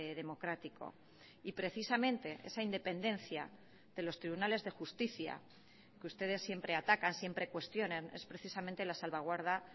democrático y precisamente esa independencia de los tribunales de justicia que ustedes siempre atacan siempre cuestionan es precisamente la salvaguarda